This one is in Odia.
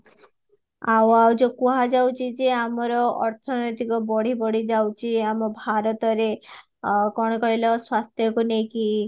ଆଉ ଆଉ ଯୋଉ କୁହା ଯାଉଚି ଯେ ଆମର ଅର୍ଥନୈତିକ ବଢି ବଢି ଯାଉଚି ଏ ଆମ ଭାରତରେ କଣ କହିଲା ସ୍ୱାସ୍ଥ୍ୟ କୁ ନେଇକି